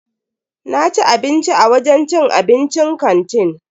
Naci abinci a wajen cin abincin kantin.